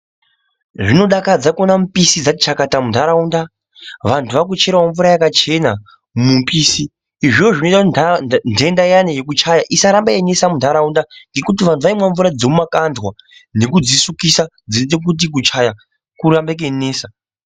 Zvinodakadza kuiona mipisi dzati chakata muntaraunda, vantu vakucherawo mvura yakachena mumipisi. Izvozvo zvinoita kuti ntarau ntenda iyana yekuchaya, isarambe yeinesa muntaraunda, ngekuti kare vantu vaimwa mvura dzemumakandwa nekudzisukisa dzinoite kuti kuchaya kurambe keinesa.